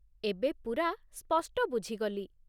ଏବେ ପୁରା ସ୍ପଷ୍ଟ ବୁଝିଗଲି ।